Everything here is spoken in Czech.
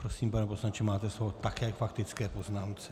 Prosím, pane poslanče, máte slovo také k faktické poznámce.